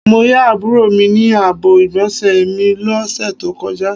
Mó yà àbúrò mi ní àbọ̀ igbonse mí lọ ṣe tó kọjá